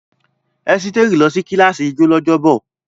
Esteri lọ sí kíláàsì ijó lọ́jọ́bọ̀.